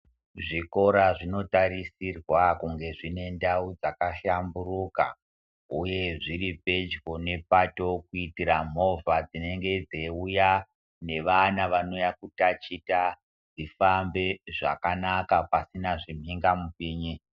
Zvikora zvinotarisirwa kunge dzinendawu dzakahlamburuka, uye zviripedyo nepatokwitira mova dzinenge dzeyiwuya nevana vanouya kutachita dzifambe zvakanaka pasina zvimhengampinyi.